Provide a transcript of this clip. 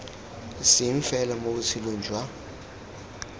seng fela mo botshelong jwa